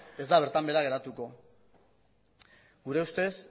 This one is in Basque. ez da bertan behera geratuko gure ustez